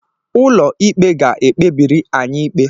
Ụlọ ikpe ga-ekpebiri anyị ikpe.